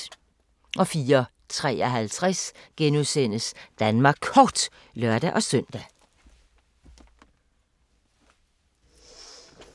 04:53: Danmark Kort *(lør-søn)